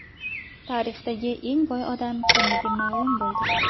Tarixdagi eng boy odam kimligi ma’lum bo‘ldi.